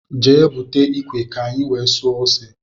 Jee búte ikwe ka i wee suo ose!!!